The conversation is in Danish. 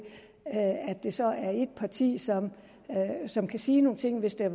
det så er ét parti som som kan sige nogle ting hvis der